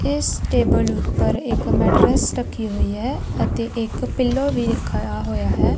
ਇੱਸ ਟੇਬਲ ਉਪਰ ਇੱਕ ਮੈਟਰੇਸ ਰੱਖੀ ਹੋਈ ਹੈ ਅਤੇ ਇੱਕ ਪਿਲੋ ਵੀ ਰੱਖਿਆ ਹੋਯਾ ਹੈ।